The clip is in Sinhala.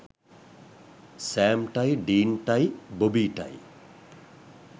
සෑම්ටයි ඩීන්ටයි බෝබීටයි